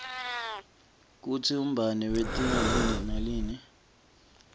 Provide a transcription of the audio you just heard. kutsi umbane wentiwa yini nalinn